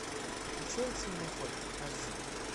включай с меня хватит аш ди